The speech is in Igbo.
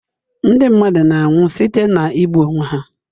Ndị mmadụ na-anwụ site na igbu onwe ha.